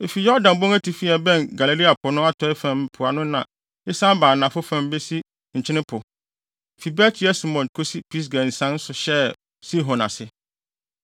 Efi Yordan bon atifi a ɛbɛn Galilea po no atɔe fam mpoano na esian ba anafo fam besi Nkyene Po, fi Bet-Yesimot kosi Pisga nsian so hyɛɛ Sihon ase.